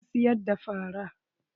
Zan siyar da fara.